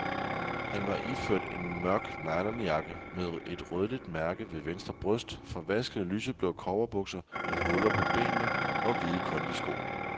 Han var iført en mørk nylonjakke med et rødligt mærke ved venstre bryst, forvaskede lyseblå cowboybukser med huller på benene og hvide kondisko.